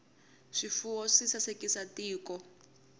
swifuwo swi sasekisa tiko